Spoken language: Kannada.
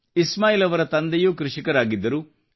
ಇಸ್ಮಾಯಿಲ್ ಅವರ ತಂದೆಯೂ ಕೃಷಿಕರಾಗಿದ್ದರು